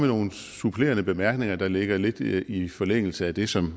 nogle supplerende bemærkninger der ligger lidt i forlængelse af det som